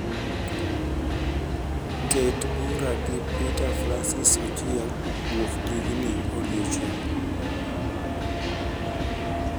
ket bura gi peter francis chieng wuok tijni odiechieng